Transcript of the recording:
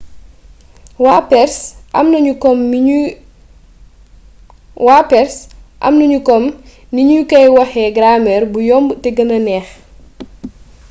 waa perse amnaniu kom nignu koy waxé gramer bou yomb té guena neex